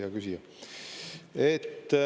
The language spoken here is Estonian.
Hea küsija!